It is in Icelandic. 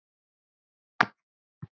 Og taki nú allir undir.